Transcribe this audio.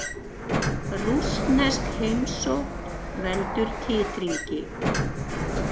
Rússnesk heimsókn veldur titringi